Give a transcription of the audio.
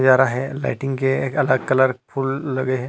जा रहा है लाइटिंग के अलग कलर फूल लगे है।